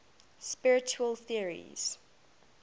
spiritual theories